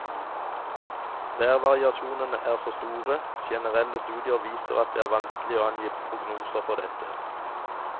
Værvariasjonene er så store, generelle studier viser at det er vanskelig å angi prognoser for dette.